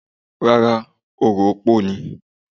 Rárá, orò opó ni.